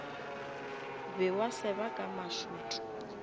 be wa seba ka mašot